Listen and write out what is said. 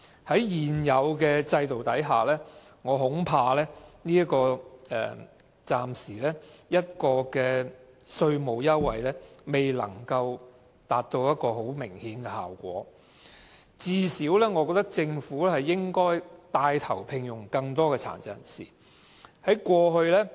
在現有制度下，我恐怕這項稅務優惠暫時未能取得明顯的效果，我認為政府最少應該牽帶聘用更多殘疾人士。